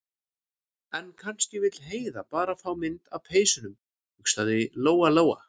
En kannski vill Heiða bara fá mynd af peysunum, hugsaði Lóa- Lóa.